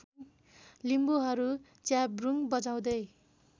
लिम्बुहरू च्याब्रुङ बजाउँदै